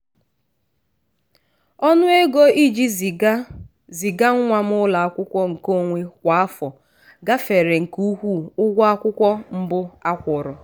ọnụ ego iji ziga ziga nwa m ụlọakwụkwọ nke onwe kwa afọ gafere nke ukwuu ụgwọ akwụkwọ mbụ a kwụrụ.